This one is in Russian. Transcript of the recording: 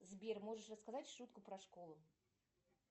сбер можешь рассказать шутку про школу